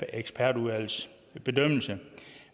ekspertudvalgets bedømmelse